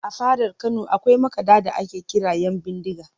A fadar Kano akwai makaɗa da ake kira ‘Yanbindiga